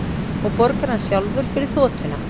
Og borgar hann sjálfur fyrir þotuna